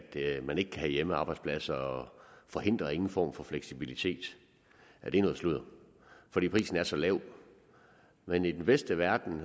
man ikke kan have hjemmearbejdspladser og forhindrer ingen form for fleksibilitet det er noget sludder fordi prisen er så lav men i den bedste verden